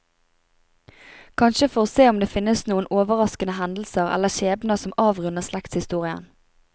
Kanskje for å se om det finnes noen overraskende hendelser eller skjebner som avrunder slektshistorien.